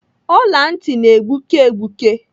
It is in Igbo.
Ọla ntị na-egbuke egbuke.